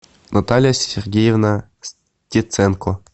наталья сергеевна стеценко